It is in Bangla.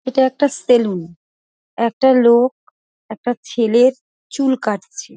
এটা একটা সেলুন । একটা লোক একটা ছেলের চুল কাটছে।